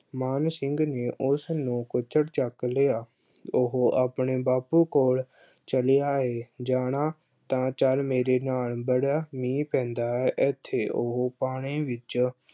ਮਾਨ ਸਿੰਘ ਨੇ ਉਸਨੂੰ ਕੁੱਛੜ ਚੱਕ ਲਿਆ, ਉਹੋ ਆਪਣੇ ਬਾਪੂ ਕੋਲ ਚਲਿਆ ਏ, ਜਾਣਾ ਤਾਂ ਚੱਲ ਮੇਰੇ ਨਾਲ ਬੜਾ ਮੀਂਹ ਪੈਂਦਾ ਐ ਏਥੇ, ਉਹੋ ਪਾਣੀ ਵਿੱਚ